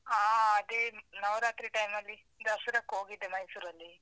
ಹಾ ಅದೇ ನವರಾತ್ರಿ time ಅಲ್ಲಿ ದಸ್ರಕೋಗಿದ್ದೆ ಮೈಸೂರಲ್ಲಿ.